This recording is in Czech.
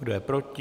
Kdo je proti?